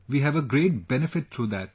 We have a great benefit through that